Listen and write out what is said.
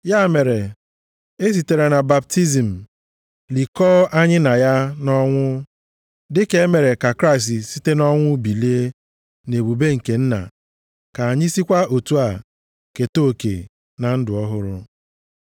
Ya mere, esitere na baptizim likọọ anyị na ya nʼọnwụ, dịka e mere ka Kraịst site nʼọnwụ bilie nʼebube nke Nna, ka anyị sikwa otu a keta oke na ndụ ọhụrụ.